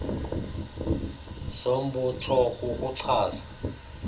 zombutho kuku chaza